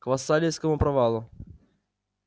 к вассалийскому провалу